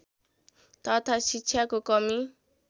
तथा शिक्षाको कमी